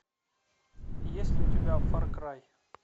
есть ли у тебя фар край